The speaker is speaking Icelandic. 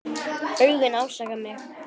Augun ásaka mig.